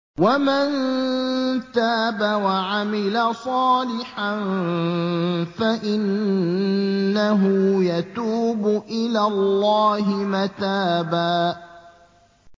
وَمَن تَابَ وَعَمِلَ صَالِحًا فَإِنَّهُ يَتُوبُ إِلَى اللَّهِ مَتَابًا